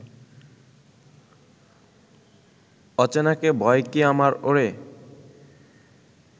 অচেনাকে ভয় কি আমার ওরে